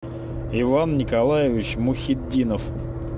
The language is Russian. иван николаевич мухитдинов